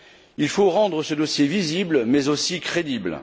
Il faut rendre ce dossier visible mais aussi crédible.